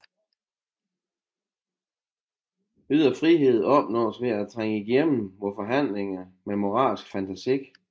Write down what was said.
Ydre frihed opnås ved at trænge igennem vores handlinger med moralsk fantasi